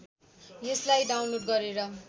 यसलाई डाउनलोड गरेर